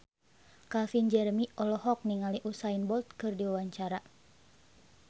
Calvin Jeremy olohok ningali Usain Bolt keur diwawancara